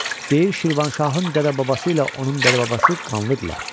Deyir Şirvanşahın dədə-babası ilə onun dədə-babası qanlıdırlar.